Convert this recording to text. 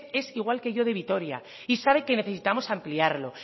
es igual que yo de vitoria y sabe que necesitamos ampliarlo